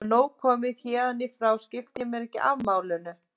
Nú er nóg komið, héðan í frá skipti ég mér ekki af málinu.